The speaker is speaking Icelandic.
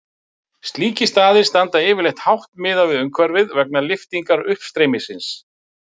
Slíkir staðir standa yfirleitt hátt miðað við umhverfið vegna lyftingar uppstreymisins.